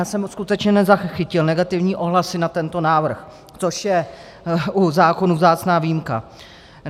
Já jsem skutečně nezachytil negativní ohlasy na tento návrh, což je u zákonů vzácná výjimka.